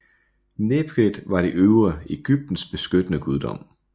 Nekhbet var det øvre Egyptens beskyttende guddom